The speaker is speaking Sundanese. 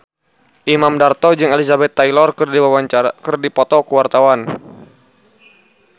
Imam Darto jeung Elizabeth Taylor keur dipoto ku wartawan